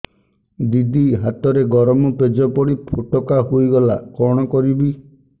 ଦିଦି ହାତରେ ଗରମ ପେଜ ପଡି ଫୋଟକା ହୋଇଗଲା କଣ କରିବି